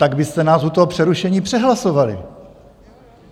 Tak byste nás u toho přerušení přehlasovali!